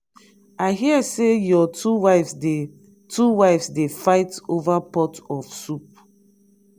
i hear say your two wives dey two wives dey fight over pot of soup.